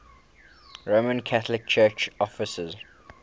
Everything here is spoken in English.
roman catholic church offices